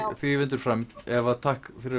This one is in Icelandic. því vindur fram Eva takk fyrir